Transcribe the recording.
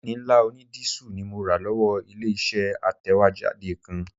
Jẹ́ẹ̀nì ńlá onídísù ni mo rà lọ́wọ́ ilé-iṣẹ́ atẹ̀wéjáde kan